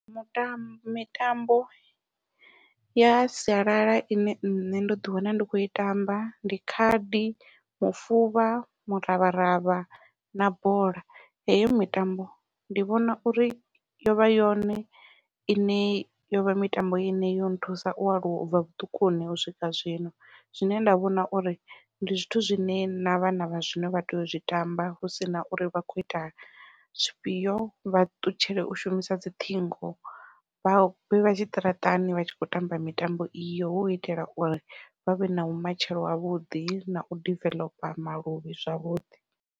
Mutambo mitambo ya sialala ine nṋe ndo ḓi wana ndi khou i tamba ndi khadi, mufuvha muravharavha, na bola heyo mitambo ndi vhona uri yovha yone ine yovha mitambo ine yo nthusa u aluwa ubva vhuṱukuni u swika zwino Zwine nda vhona uri ndi zwithu zwine na vhana vha zwino vha tea u zwi tamba hu sina uri vha khou ita zwifhio vha ṱutshele u shumisa dzi ṱhingo vha vhe vha tshiṱaratani vha tshi khou tamba mitambo iyo hu u itela uri vha vhe na vhumatshelo havhuḓi nau diveḽopa maluvhi zwavhuḓi.